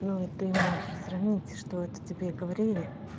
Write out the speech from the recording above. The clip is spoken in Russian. ну и ты можешь сравнить что это тебе говорили